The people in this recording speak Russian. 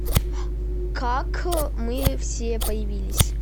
как мы все появились